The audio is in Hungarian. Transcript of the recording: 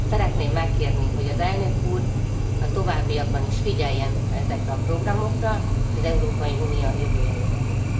Szeretném megkérni, hogy az elnök úr a továbbiakban is figyeljen ezekre a programokra az Európai Unió jövője érdekében.